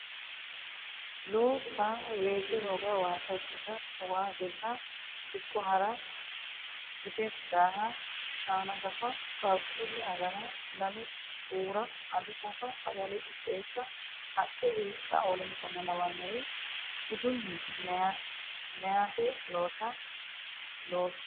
loossa weese hoga waasa qisha waa dirra dikko ha ra gide daaha shaana gafa qaaqquulle agara lalo xuura ado shafa sagale qixxeessa haqqe hiiqqanna w k l budunni meyate loossa gede.